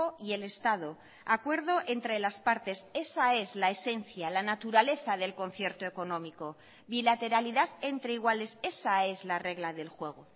y el estado acuerdo entre las partes esa es la esencia la naturaleza del concierto económico bilateralidad entre iguales esa es la regla del juego